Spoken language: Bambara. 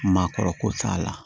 Maakɔrɔ ko t'a la